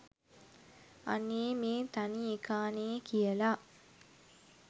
අනේ මේ තනි එකානේ කියලා